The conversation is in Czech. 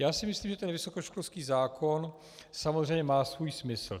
Já si myslím, že ten vysokoškolský zákon samozřejmě má svůj smysl.